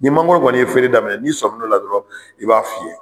Ni mangoro kɔni ye feere daminɛ n'i sɔmi n'ola dɔrɔn, i b'a fiyɛ